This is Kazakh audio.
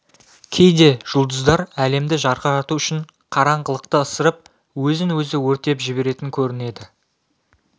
кейде жұлдыздар әлемді жарқырату үшін қараңғылықты ысырып өзін өзі өртеп жіберетін көрінеді